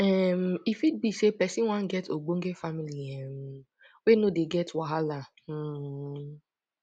um e fit be sey person wan get ogbonge family um wey no dey get wahala um